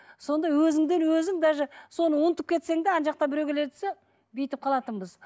сонда өзіңден өзің даже соны ұмытып кетсең де ана жақтан біреу келе жатса бүйтіп қалатынбыз